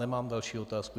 Nemám další otázky.